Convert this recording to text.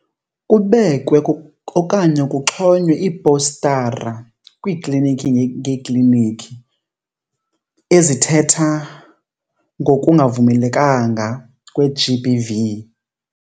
Kubekwe okanye kuxhonywe iipostara kwiiklinikhi ngeekliniki ezithetha ngokungavumelekanga kwe-G_B_V.